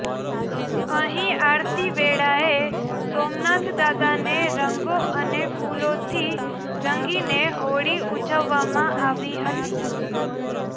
અહીં આરતી વેળાએ સોમનાથ દાદાને રંગો અને ફૂલોથી રંગીને હોળી ઉજવવામાં આવી હતી